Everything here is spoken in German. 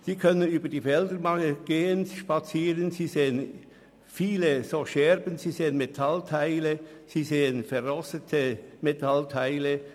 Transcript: Sie können über die Felder gehen und sehen dabei viele Scherben und verrostete Metallteile.